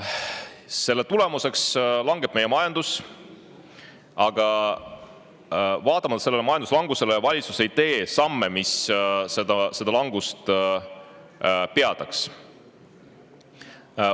Selle tulemusena meie majandus langeb, aga valitsus ei tee samme, mis seda langust peataks.